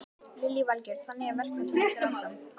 Lillý Valgerður: Þannig að verkfallið heldur áfram?